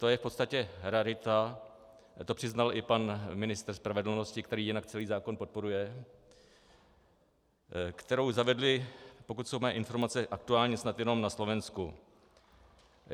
To je v podstatě rarita, to přiznal i pan ministr spravedlnosti, který jinak celý zákon podporuje, kterou zavedli, pokud jsou mé informace aktuální, snad jenom na Slovensku.